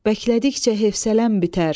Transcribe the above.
bəklədikcə hev sələm bitər.